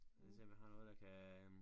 Lige se om jeg har noget der kan